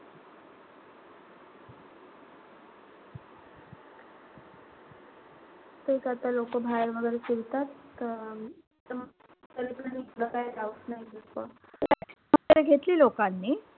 तेच आता लोकं बाहेर वगैरे फिरतात त वगैरे घेतली लोकांनी.